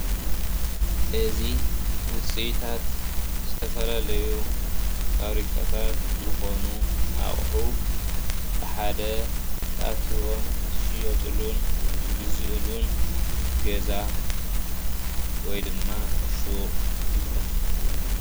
እዚ ውጽኢታት ዝተፈላለዩ ፋብሪካታት ዝኾኑ ኣቑሑ ብሓደ ተኣኪቦም ዝሽየጡሉን ዝግዝኡሉን ገዛ ወይ ድማ ሹቕ ይበሃል።